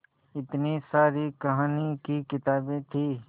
इतनी सारी कहानी की किताबें थीं